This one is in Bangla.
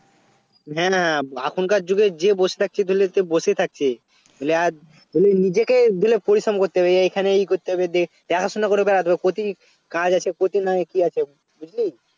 হ্যাঁ না এখনকার যুগে যে বসে থাকছে ধরেলে সে বসেই থাকছে নইলে আজ বলি নিজেকে দিলে পরিশ্রম করতে হবে এ এইখানে এই করতে হবে দে~ দেখাশুনা করে বেড়াতে হবে প্রতি কাজ আছে প্রতির নাম কি আছে বুঝলি